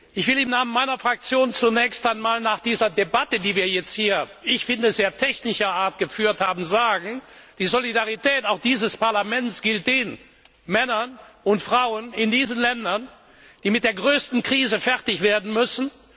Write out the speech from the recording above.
Ich will im Namen meiner Fraktion zunächst einmal nach dieser Debatte, die wir jetzt hier, wie ich finde, in sehr technischer Art geführt haben, sagen Die Solidarität auch dieses Parlaments gilt den Männern und Frauen in diesen Ländern, die mit der größten Krise fertig werden müssen.